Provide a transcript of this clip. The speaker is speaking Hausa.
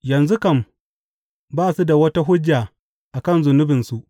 Yanzu kam, ba su da wata hujja a kan zunubinsu.